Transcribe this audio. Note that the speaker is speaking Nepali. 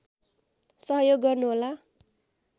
सहयोग गर्नुहोला